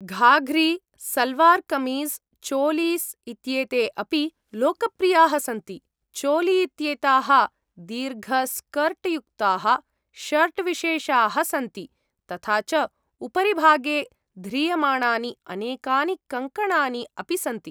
घाघ्री, सल्वार् कमीज़्, चोलीस् इत्येते अपि लोकप्रियाः सन्ति। चोली इत्येताः दीर्घस्कर्ट्युक्ताः शर्ट् विशेषाः सन्ति, तथा च उपरिभागे ध्रियमाणानि अनेकानि कङ्कणानि अपि सन्ति।